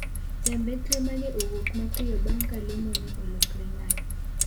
Jambetre ma ne owuok mapiyo bang’ ka lemo ne olokore ng'anyo.